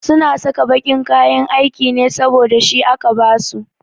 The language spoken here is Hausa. Su na saka baƙin kayan aiki ne saboda shi aka ba su